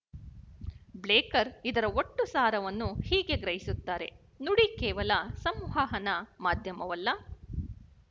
ಬ್ಲೇಕರ್ ಇದರ ಒಟ್ಟು ಸಾರವನ್ನು ಹೀಗೆ ಗ್ರಹಿಸುತ್ತಾರೆ ನುಡಿ ಕೇವಲ ಸಂವಹನ ಮಾಧ್ಯಮವಲ್ಲ